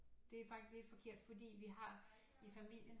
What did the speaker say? Det er faktisk lidt forkert fordi vi har i familien